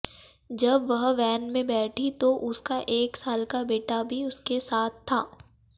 जब वह वैन में बैठी तो उसका एक साल का बेटा भी उसके साथ था